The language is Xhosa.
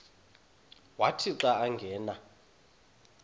wathi xa angena